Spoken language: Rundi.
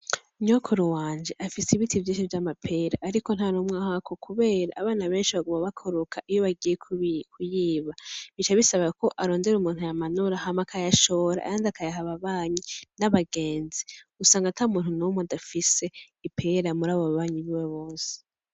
Nyokuru wanje afise Ibiti vyishi vyamapera ariko ntanumwe ahako kubera abana benshi baguma bakoroka iyo bagiye kuyiba bica bisabako arondera umuntu ayamanura hama akayashora ayandi akayaha ababanyi n’abagenzi, usanga atamuntu numwe adafise ipera murabo babanyi biwe bose.